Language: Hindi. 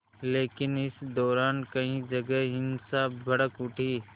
लेकिन इस दौरान कई जगह हिंसा भड़क उठी